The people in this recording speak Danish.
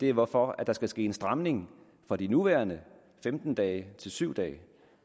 er hvorfor der skal ske en stramning fra de nuværende femten dage til syv dage